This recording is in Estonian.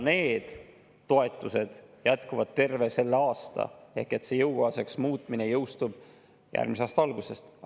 Need toetused jätkuvad terve selle aasta ehk see jõukohaseks muutmine jõustub järgmise aasta algusest.